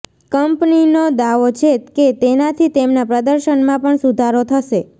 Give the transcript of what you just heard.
કંપનીનો દાવો છે કે તેનાથી તેમના પ્રદર્શનમાં પણ સુધારો થશે